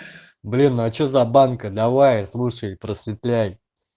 блин а что за банка давай слушай просветляй